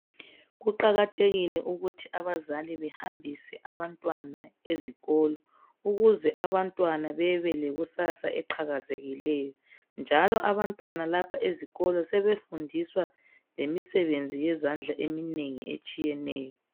Kuqakathekile ukuthi abazali bahambise abantwana ezikolo ukuze abantwana bebelekusasa eqhakezekileyo njalo abantwana lapho ezikolo sebefundiswa lemisebenzi yezandla eminengi etshiyeneyo.